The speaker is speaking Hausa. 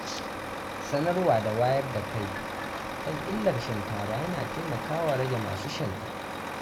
Sanarwa da wayar da kai kan illar shan taba yana taimakawa rage masu shansa.